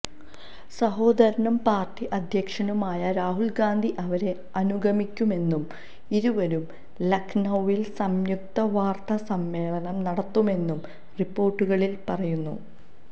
സഹോദരനും പാര്ട്ടി അധ്യക്ഷനുമായ രാഹുല് ഗാന്ധി അവരെ അനുഗമിക്കുമെന്നും ഇരുവരും ലഖ്നൌവില് സംയുക്ത വാര്ത്താ സമ്മേളനം നടത്തുമെന്നും റിപ്പോര്ട്ടുകളില് പറയുന്നു